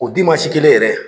O kelen yɛrɛ.